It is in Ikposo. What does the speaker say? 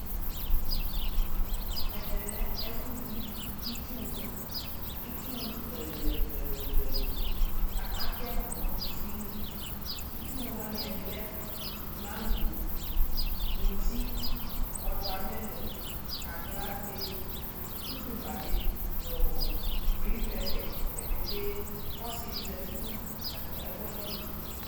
Ɛvɛ lɛ ɛfʋyi itsuwʋ Itsuwʋ ɛlʋɛlʋɛlʋɛlʋɛlʋ kʋ atɛ ma nʋ kʋsi li Itsuwʋ wani ɛdi lɛ mangɔ, mʋti, wɔtamilɔŋ, aklate, kukumba bi nʋ ɔ griŋpɛpɛ dzapetee kʋ ɔsi di zati nʋ ɛkʋwa ni li